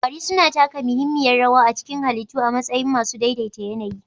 Kwari suna taka muhimmiyar rawa a cikin halittu a matsayin masu daidai ta yAnayi